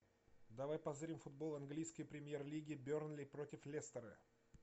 давай позырим футбол английской премьер лиги бернли против лестера